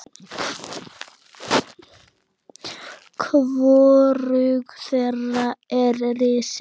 Hvorug þeirra er risin.